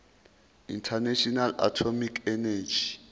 international atomic energy